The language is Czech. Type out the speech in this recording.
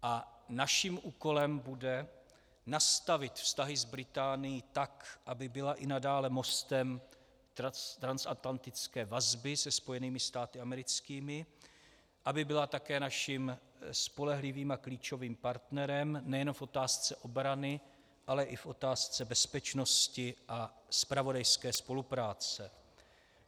A naším úkolem bude nastavit vztahy s Británií tak, aby byla i nadále mostem transatlantické vazby se Spojenými státy americkými, aby byla také naším spolehlivým a klíčovým partnerem nejenom v otázce obrany, ale i v otázce bezpečnosti a zpravodajské spolupráce.